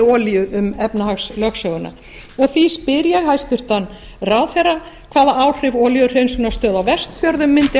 olíu um efnahagslögsöguna því spyr ég hæstvirtan ráðherra hvaða áhrif olíuhreinsunarstöð á vestfjörðum mundi